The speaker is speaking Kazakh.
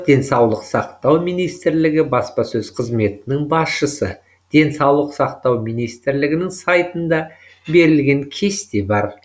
денсаулық сақтау министрлігі баспасөз қызметінің басшысы денсаулық сақтау министрлігінің сайтында берілген кесте бар